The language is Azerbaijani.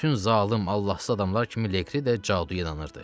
Bütün zalım Allahsız adamlar kimi Leqri də caduya inanırdı.